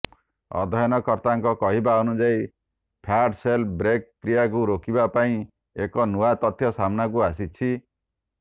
ଅଧ୍ୟୟନକର୍ତ୍ତାଙ୍କ କହିବା ଅନୁଯାୟୀ fat cell break କ୍ରିୟାକୁ ରୋକିବା ପାଇଁ ଏକ ନୂଆ ତଥ୍ୟ ସାମ୍ନାକୁ ଆସିଛି